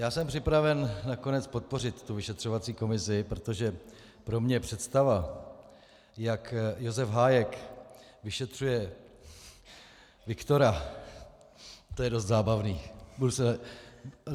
Já jsem připraven nakonec podpořit tu vyšetřovací komisi, protože pro mě představa, jak Josef Hájek vyšetřuje Viktora - to je dost zábavné.